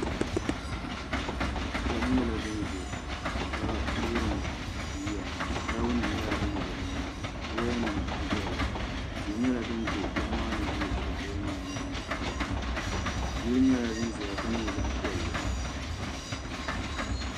Ʒiɛɣu nyɛla din ʒɛ ka wurim yiya taabo nim nyɛla din do nimaani woya nim n doya ŋɔ tia nyɛla din bɛ ʒiɛɣu maa ni ʒɛ shɛli polo maa nyaanga yili nyɛla din ʒɛya ka nyɛ zaɣ piɛlli